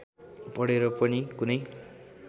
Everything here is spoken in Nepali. पढेर पनि कुनै